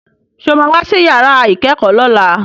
Sọ ma wá sí yàrá ìkẹ́kọ̀ọ́ lọ́la?